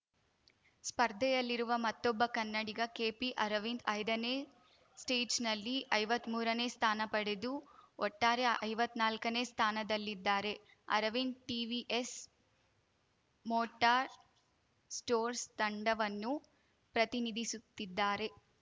ಸ್ಪರ್ಧೆಯಲ್ಲಿರುವ ಮತ್ತೊಬ್ಬ ಕನ್ನಡಿಗ ಕೆಪಿಅರವಿಂದ್‌ ಐದನೇ ಸ್ಟೇಜ್‌ನಲ್ಲಿ ಐವತ್ಮೂರನೇ ಸ್ಥಾನ ಪಡೆದು ಒಟ್ಟಾರೆ ಐವತ್ನಾಲ್ಕನೇ ಸ್ಥಾನದಲ್ಲಿದ್ದಾರೆ ಅರವಿಂದ್‌ ಟಿವಿಎಸ್‌ ಮೋಟಾರ್‌ ಸ್ಟೋರ್ಸ್ ತಂಡವನ್ನು ಪ್ರತಿನಿಧಿಸುತ್ತಿದ್ದಾರೆ